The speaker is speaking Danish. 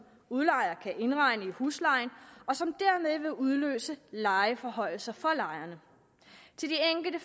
udlejer kan indregne i huslejen og som derved vil udløse lejeforhøjelser for lejerne til de enkelte